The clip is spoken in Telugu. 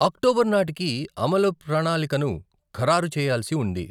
అక్టోబర్ నాటికి అమలు ప్రణాళికను ఖరారు చేయల్సి ఉంది.